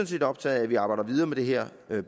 set optaget af at vi arbejder videre med det her